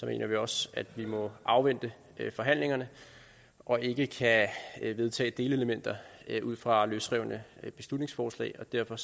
mener vi også at vi må afvente forhandlingerne og ikke kan vedtage delelementer ud fra løsrevne beslutningsforslag derfor